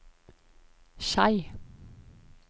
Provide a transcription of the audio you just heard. Skei